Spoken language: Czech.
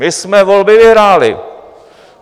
My jsme volby vyhráli.